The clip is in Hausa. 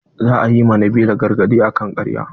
Za a yi ma nabila gargaɗi akan ƙarya.